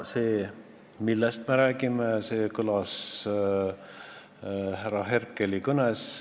See, millest me praegu räägime, kõlas härra Herkeli kõnes.